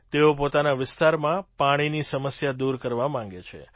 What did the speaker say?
તેઓ પોતાના વિસ્તારમાં પાણીની સમસ્યા દૂર કરવા માગે છે